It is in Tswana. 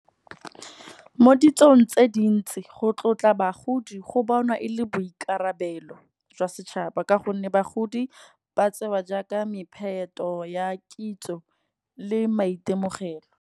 Mo ditsong tse dintsi go tlotla bagodi go bonwa e le boikarabelo jwa setšhaba. Ka gonne bagodi ba tsewa jaaka mepheto ya kitso le maitemogelo.